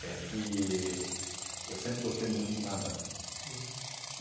É que eu sempre gostei muito de nadar. Uhum.